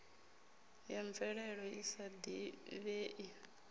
ya mvelelo i sa divhei